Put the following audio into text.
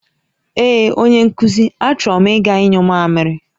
Ee onye nkuzi, a choro m iga nyụ mamịrị